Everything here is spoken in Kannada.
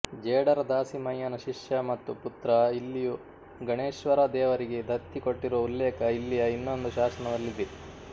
ಜೇಡರ ದಾಸಿಮಯ್ಯನ ಶಿಷ್ಯ ಮತ್ತು ಪುತ್ರ ಇಲ್ಲಿಯ ಗಣೇಶ್ವರ ದೇವರಿಗೆ ದತ್ತಿ ಕೊಟ್ಟಿರುವ ಉಲ್ಲೇಖ ಇಲ್ಲಿಯ ಇನ್ನೊಂದು ಶಾಸನದಲ್ಲಿದೆ